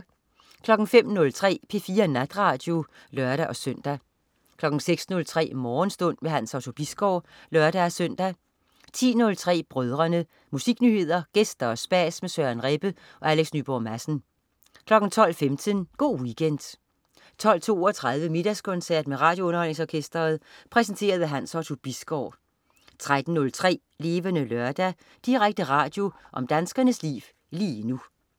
05.03 P4 Natradio (lør-søn) 06.03 Morgenstund. Hans Otto Bisgaard (lør-søn) 10.03 Brødrene. Musiknyheder, gæster og spas med Søren Rebbe og Alex Nyborg Madsen 12.15 Go' Weekend 12.32 Middagskoncert med RadioUnderholdningsOrkestret. Præsenteret af Hans Otto Bisgaard 13.03 Levende Lørdag. Direkte radio om danskernes liv lige nu